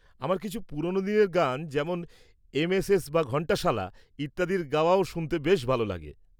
আমার কিছু পুরোনো দিনের গান যেমন এমএসএস বা ঘন্টশালা, ইত্যাদির গাওয়াও শুনতে ভালো লাগে।